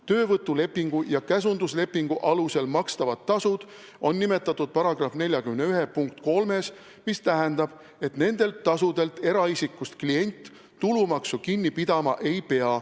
Töövõtulepingu ja käsunduslepingu alusel makstavad tasud on nimetatud § 41 punktis 3, mis tähendab et nendelt tasudelt eraisikust klient tulumaksu kinni pidama ei pea.